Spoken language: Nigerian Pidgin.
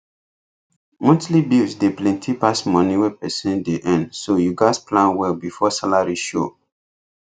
monthly bills dey plenty pass moni wey person dey earn so you gats plan well before salary show